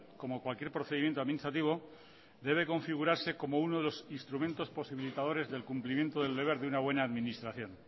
como cualquier procedimiento administrativo debe configurarse como uno de los instrumentos posibilitadores del cumplimiento del deber de una buena administración